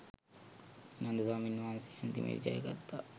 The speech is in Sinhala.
නන්ද ස්වාමීන් වහන්සේ අන්තිමේදි ජයගත්තා.